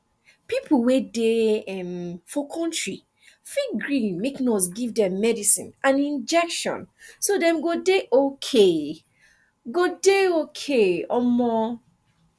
people wey dey um for country fit gree make nurse give dem medicine and injection so dem go dey okay go dey okay um